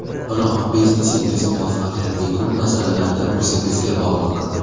Biroq biznesingiz muvaffaqiyati ko‘p masalalarda o‘zingizga bog‘liq.